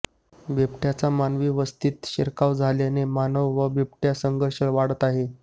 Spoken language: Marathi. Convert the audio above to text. बिबटय़ाचा मानवी वस्तीत शिरकाव झाल्याने मानव व बिबटय़ा संघर्ष वाढत आहे